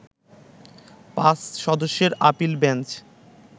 ৫ সদস্যের appeal bench